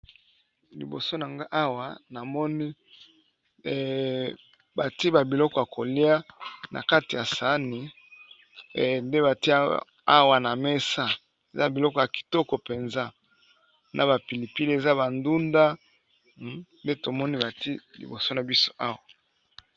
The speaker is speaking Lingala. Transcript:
Liboso nanga awa namoni batie ba biloko ya kolia na kati ya sani, nde batie awa na mesa eza biloko ya kitoko mpenza na ba pili pili eza ba ndunda nde tomoni batie liboso na biso awa.